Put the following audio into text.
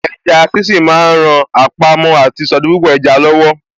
Eja sínsín ma ń ran àpamọ́ àti ìsọdipúpọ̀ eja lọ́wọ́.